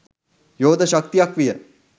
යෝධ ශක්තියක් විය